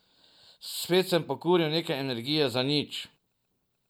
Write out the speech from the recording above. Spet sem pokuril nekaj energije za nič.